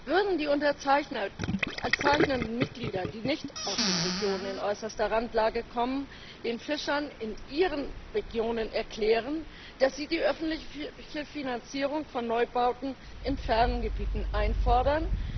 Würden die unterzeichnenden Mitglieder, die nicht aus den Regionen in äußerster Randlage kommen, den Fischern in ihren Regionen erklären, dass sie die öffentliche Finanzierung von Neubauten in fernen Gebieten einfordern?